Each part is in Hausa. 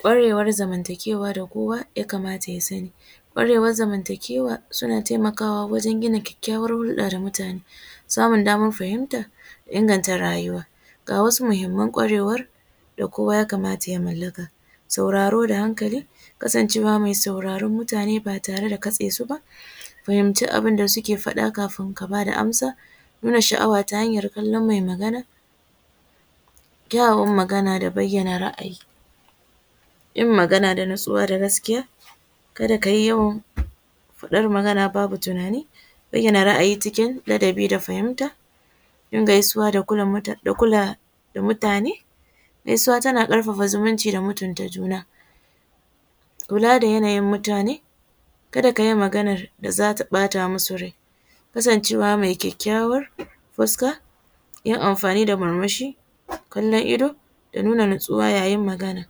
Kwarewar zamantakewa da kowa ya kamata ya sanni, kwarewar zamantakewa suna taimakawa wajen gina kyakkawar hulɗa da mutane samun damar fahimta da inganta rayuwa ga wasu muhimman kwarewar da kowa ya kamata ya malaka, sauraro da hankali kasancewa mai sauraron mutane ba tare da kasesu ba, fahimci abun da suke faɗa kafin ka bada amsa, nuna sha’awa ta hanyar kallan mai Magana, kyawawan Magana da bayyana ra’ayi, yin Magana da natsuwa da gaskiya, kada kayi yawan faɗan Magana babu tunani, bayyana ra’ayi cikin ladabi da fahimta, yin gaisuwa da kula mutane gaisuwa tana karfafa zumunci da mutant juna, kula da yanayin mutane, kada kayi maganar da zata bata musu rai, kasancewa mai kyakyawan fuska yin amfani da murmushi, kalan ido da nuna natsuwa yayin Magana,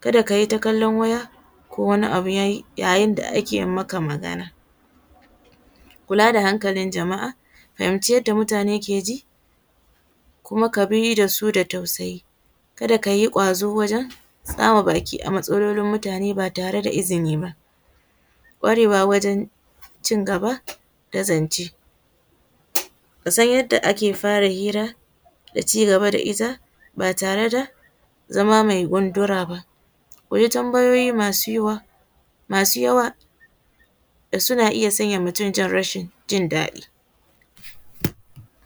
kada kayi ta kalla waya ko wani abu yayin da ake maka Magana, kula da hankalin jama’a, fahimci yadda mutane ke ji kuma kabi dasu da tausayi kada kayi gwazo wajen tsama baki a matsalolin mutane ba tare da izini ba, kwarewa wajen cin gaba da zance, kasan yadda ake fara hira da cigaba da it aba tare da zama mai gundura ba, koyi tambayoyi masu yuhuwa masu yawa da suna iya sanya mutum san rashin jin daɗi.